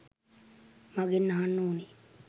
මගෙන් අහන්න ඕනෙ.